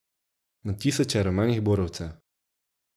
Na tisoče rumenih borovcev.